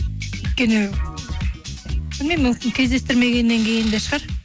өйткені білмеймін мүмкін кездестірмегеннен кейін де шығар